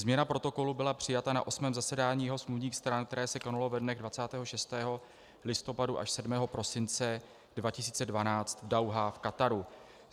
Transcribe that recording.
Změna protokolu byla přijata na 8. zasedání jeho smluvních stran, které se konalo ve dnech 26. listopadu až 7. prosince 2012 v Dauhá v Kataru.